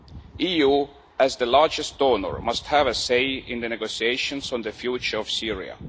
The EU, as the largest donor, must have a say in the negotiations on the future of Syria.